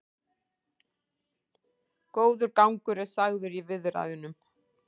Góður gangur er sagður í viðræðunum